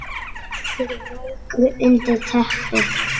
Liggur veikur undir teppi.